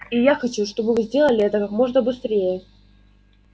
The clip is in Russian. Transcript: и я хочу чтобы вы сделали это как можно быстрее